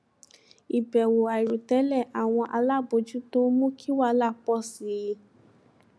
ìbẹwò àìròtẹlè àwọn alábòjútó mú kí wahala pọ sí i